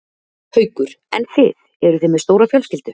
Haukur: En þið, eruð þið með stóra fjölskyldu?